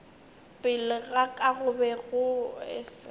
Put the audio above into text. pele ga ka go be